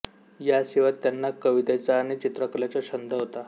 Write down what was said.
या शिवाय त्यांना कवितेचा आणि चित्रकलेचा छंद होता